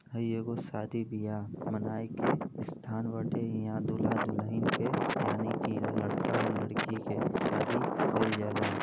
हई एगो शादी बियाह मनाए के स्थान बाटे। ईहा दूल्हा दुलहिन के यानि कि लड़का और लड़की के शादी कईल जाला।